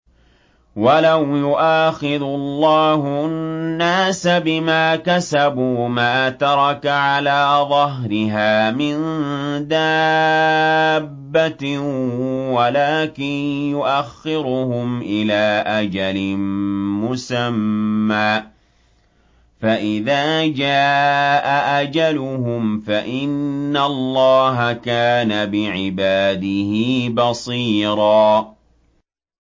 وَلَوْ يُؤَاخِذُ اللَّهُ النَّاسَ بِمَا كَسَبُوا مَا تَرَكَ عَلَىٰ ظَهْرِهَا مِن دَابَّةٍ وَلَٰكِن يُؤَخِّرُهُمْ إِلَىٰ أَجَلٍ مُّسَمًّى ۖ فَإِذَا جَاءَ أَجَلُهُمْ فَإِنَّ اللَّهَ كَانَ بِعِبَادِهِ بَصِيرًا